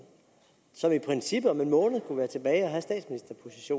som i princippet om en måned